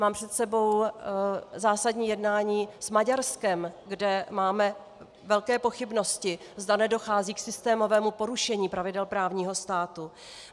Mám před sebou zásadní jednání s Maďarskem, kde máme velké pochybnosti, zda nedochází k systémovému porušení pravidel právního státu.